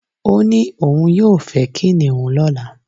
O ni oun yoo fe kiniun lola